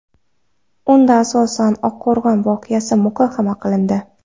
Unda asosan Oqqo‘rg‘on voqeasi muhokama qilindi .